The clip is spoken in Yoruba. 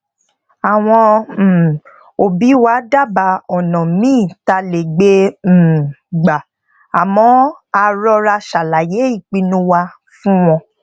àwọn um obi wa dábàá ònà míì tá a lè gbe um gba àmó a rọra ṣàlàyé ìpinnu wa fún wọn